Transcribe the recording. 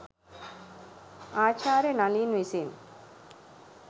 ආචාර්ය නලින් විසින්